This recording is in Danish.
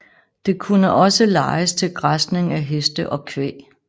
Det kunne også lejes til græsning af heste og kvæg